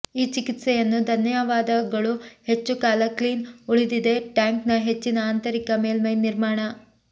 ಈ ಚಿಕಿತ್ಸೆಯನ್ನು ಧನ್ಯವಾದಗಳು ಹೆಚ್ಚು ಕಾಲ ಕ್ಲೀನ್ ಉಳಿದಿದೆ ಟ್ಯಾಂಕ್ನ ಹೆಚ್ಚಿನ ಆಂತರಿಕ ಮೇಲ್ಮೈ ನಿರ್ಮಾಣ